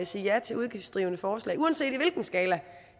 sige ja til udgiftsdrivende forslag uanset i hvilken skala